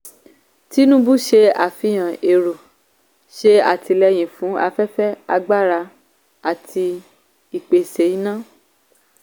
tinubu ṣe àfihàn èrò ṣe àtìlẹyìn fún afẹ́fẹ́ agbára àti ìpèsè iná.